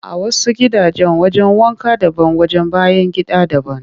A wasu gidajen wajen wanka daban wajen bayan gida daban